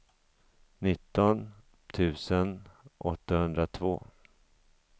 nitton tusen åttahundratvå